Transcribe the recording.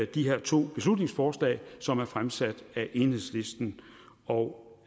de her to beslutningsforslag som er fremsat af enhedslisten og